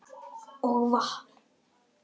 Og vatn.